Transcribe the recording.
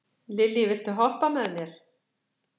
Lilý, viltu hoppa með mér?